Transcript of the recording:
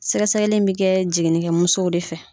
Sɛgɛsɛgɛli bɛ kɛ jiginikɛ musow de fɛ.